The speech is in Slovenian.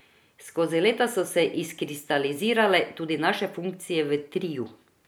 Skozi leta so se izkristalizirale tudi naše funkcije v triu.